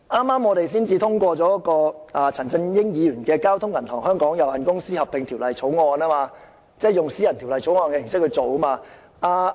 我們剛才通過了由陳振英議員提出的《交通銀行有限公司條例草案》，就是以私人條例草案的形式處理。